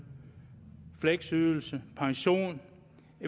fleksydelse pension